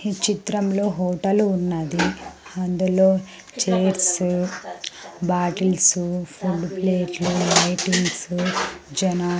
ఈ చిత్రంలో హోటల్ ఉన్నది. అందులో చైర్స్ బాటిల్స్ ఫుడ్ ప్లేట్లు లైటింగ్స్స జానా --